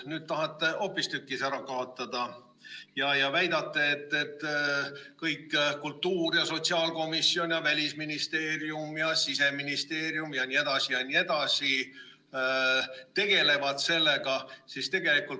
Nüüd tahate hoopistükkis ära kaotada ja väidate, et kultuuri- ja sotsiaalkomisjon ja Välisministeerium ja Siseministeerium jne, jne tegelevad sellega.